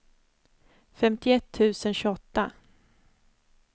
femtioett tusen tjugoåtta